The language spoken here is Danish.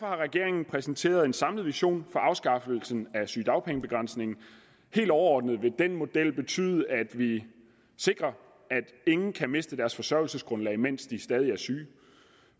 har regeringen præsenteret en samlet vision for afskaffelse af sygedagpengebegrænsningen helt overordnet vil den model betyde at vi sikrer at ingen kan miste deres forsørgelsesgrundlag mens de stadig er syge